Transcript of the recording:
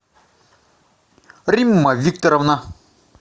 римма викторовна